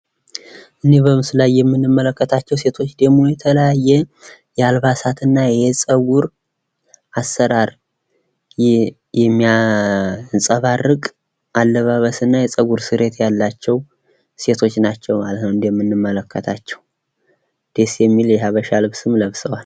ይህ በምስሉ ላይ የምንመለከታቸው ሴቶች ደግሞ የተለያየ የአልባሳትና የፀጉር አሰራር የሚያንፀባርቅ አለባበስና የፀጉር ስሬት ያላቸው ሴቶች ናቸው ማለት ነው እንደምንመለከታቸው። ደስ የሚል ለሀበሻ ልብስም ለብሰዋል።